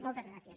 moltes gràcies